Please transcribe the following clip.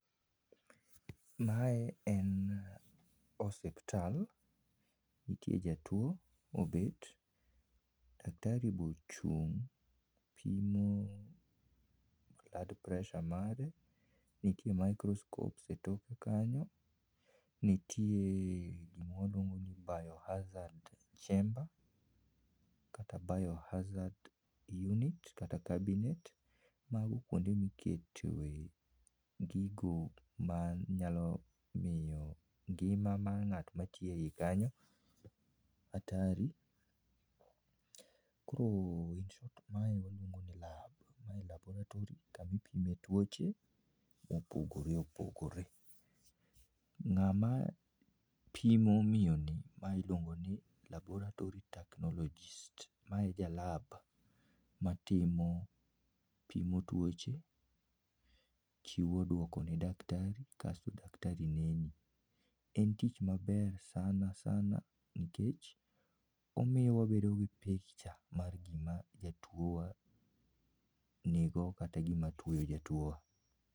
Mae en osiptal. Nitie jatuo mobet, daktari be ochun'g pimo heart pressure mare. Nitie microscope etoke kanyo, nitie gima waluongo ni bio-hazard chamber kata bio-hazard unit kata abinet. Mago kuonde ma iketoe gigo manyalo miyo ngima mar ng'at matiyo ei kanyo hatari. Koro in short ma waluongo ni lab. Ma [laboratory] kama ipime tuoche mopogore opogore. Ng'ama pimo miyoni ma iluongo ni laboratory technologist ma e ja lab matimo, pimo tuoche, chiwo duoko ne [daktari] kasto daktari neni. En tich maber sana sana nikech omiyo wabedo gi picture mar gima jatuo wa nigo kata gima tuoyo jatuowa